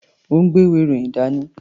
Ó ń gbé ìwé-ìròyìn dání.